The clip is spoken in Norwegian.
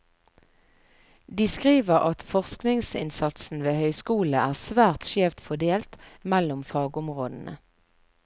De skriver at forskningsinnsatsen ved høyskolene er svært skjevt fordelt mellom fagområdene.